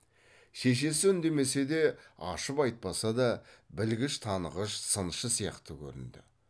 шешесі үндемесе де ашып айтпаса да білгіш танығыш сыншы сияқты көрінді